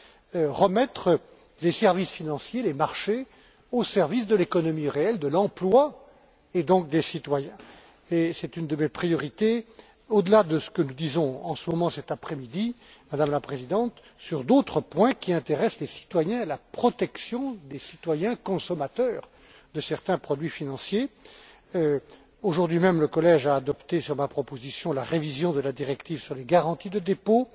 Il s'agit de remettre les services financiers, les marchés, au service de l'économie réelle, de l'emploi, et donc des citoyens. C'est une de mes priorités, au delà de ce que nous disons en ce moment, cet après midi, Madame la Présidente, sur d'autres points qui intéressent les citoyens, la protection des citoyens consommateurs de certains produits financiers. Aujourd'hui même, le collège a adopté, sur ma proposition, la révision de la directive sur les garanties de dépôt,